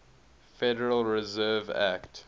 federal reserve act